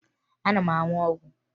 Ana m aṅụ ọgwụ